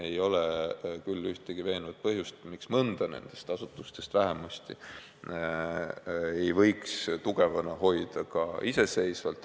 Ei ole küll ühtegi veenvat argumenti, miks vähemalt mõnda nendest asutustest ei võiks tugevana hoida ka iseseisvalt.